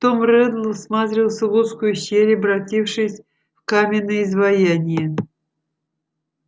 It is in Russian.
том реддл всматривался в узкую щель обратившись в каменное изваяние